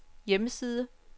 hjemmeside